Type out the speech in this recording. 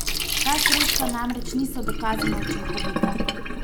Ta sredstva namreč niso dokazano učinkovita.